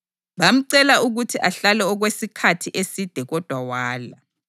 Bamcela ukuthi ahlale okwesikhathi eside kodwa wala.